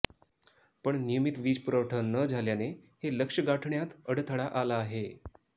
पण नियमित वीज पुरवठा न झाल्याने हे लक्ष्य गाठण्यात अडथळा आला आहे